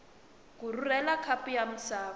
ku rhurhela khapu ya misava